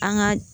An ka